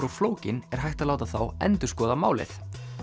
og flókin er hægt að láta þá endurskoða málið